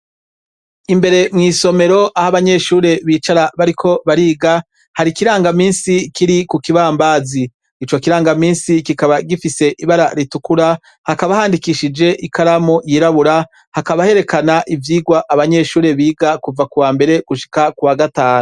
Imbere mw'isomero aho abanyeshure bicara bariko bariga hari ikirangaminsi kiri ku kibambazi. Ico kirangaminsi kikaba gifise ibara ritukura, hakaba handikishije ikaramu yirabura. Hakaba herekana ivyigwa abanyeshure biga kuva kuwambere gushika kuwagatanu.